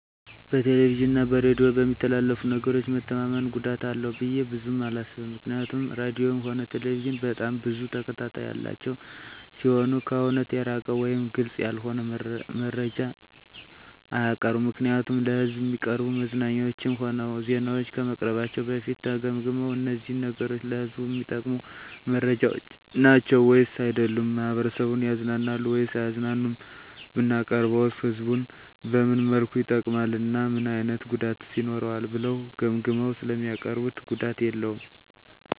በቴሌቪዥን እና በሬዲዮ በሚተላለፉ ነገሮች መተማመን ጉዳት አላቸው ብዬ ብዙም አላስብም ምክንያቱም ራድዮም ሆነ ቴሌቪዥን በጣም ብዙ ተከታታይ ያላቸው ሲሆኑ ከእውነት የራቀ ወይም ግልፅ ያልሆነ መረጃ አያቀርቡም ምክንያቱም ለሕዝብ እሚቀርቡ መዝናኛዎችም ሆነ ዜናዎች ከመቅረባቸው በፊት ተገምግመው እነዚህ ነገሮች ለህዝቡ እሚጠቅሙ መረጃዎች ናቸው ወይስ አይደሉም፣ ማህበረሰቡን ያዝናናሉ ወይስ አያዝናኑም፣ ብናቀርበውስ ህዝቡን በምን መልኩ ይጠቅማል እና ምን አይነት ጉዳትስ ይኖረዋል ብለው ገምግመው ስለሚያቀርቡት ጉዳት የለውም።